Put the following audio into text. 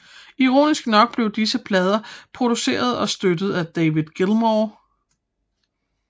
Ironisk nok blev disse plader produceret og støttet af David Gilmour